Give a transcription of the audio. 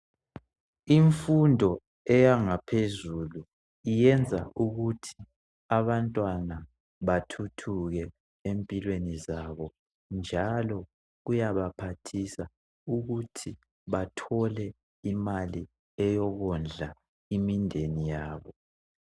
Imfundo eyangaphezulu iyenza ukuthi abantwana bathuthuke empilweni zabo njalo kuyabaphathisa ukuthi bathole imali eyokondla imideni yabo.